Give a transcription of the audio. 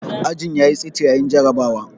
Ajin ya yi tsit yayin jarrabawar.